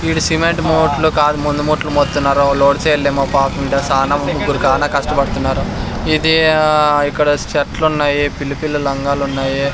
ఇవి సిమెంట్ మూట్లు కాదు మందు మూట్లు మోత్తున్నారు సానా ముగ్గురు కానా కష్టపడుతున్నారు ఇది ఆ ఇక్కడ చెట్లు ఉన్నాయి పిల్లి పిల్ల లంగాలు ఉన్నాయి.